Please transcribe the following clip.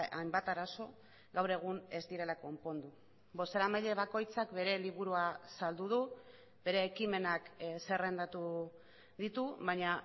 hainbat arazo gaur egun ez direla konpondu bozeramaile bakoitzak bere liburua saldu du bere ekimenak zerrendatu ditu baina